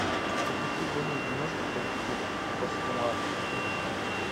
запусти годную киношку по типу пост нуар